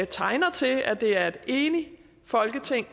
tegner til at det er et enigt folketing